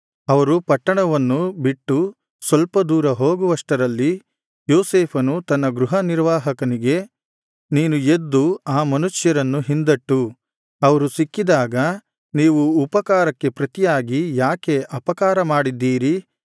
ಅವರು ಪಟ್ಟಣವನ್ನು ಬಿಟ್ಟು ಸ್ವಲ್ಪ ದೂರ ಹೋಗುವಷ್ಟರಲ್ಲಿ ಯೋಸೇಫನು ತನ್ನ ಗೃಹನಿರ್ವಾಹಕನಿಗೆ ನೀನು ಎದ್ದು ಆ ಮನುಷ್ಯರನ್ನು ಹಿಂದಟ್ಟು ಅವರು ಸಿಕ್ಕಿದಾಗ ನೀವು ಉಪಕಾರಕ್ಕೆ ಪ್ರತಿಯಾಗಿ ಯಾಕೆ ಅಪಕಾರ ಮಾಡಿದ್ದೀರಿ